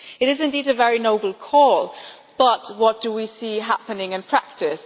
It is indeed a very noble call, but what do we see happening in practice?